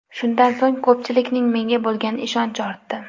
Shundan so‘ng ko‘pchilikning menga bo‘lgan ishonchi ortdi.